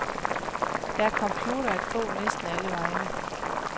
Der er computere at få næsten allevegne.